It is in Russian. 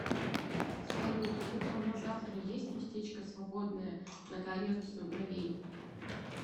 салют утром на завтра есть местечко свободное на коррекцию бровей